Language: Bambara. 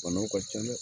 Banaw ka ca dɛ